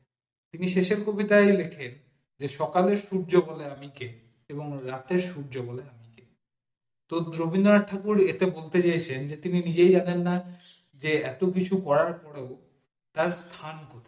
তিনি শেষ এর কবিতায় লেখেন সকালে সূর্য ওঠেন আমি কে এবং রাতে সূর্য বলে আমি কে তো রবীন্দ্রনাথ ঠাকুর এটা বলতে চাইছেন তিনি নিজেই জানেন না এত কিছু করার পর ও তার স্থান কোই